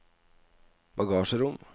bagasjerom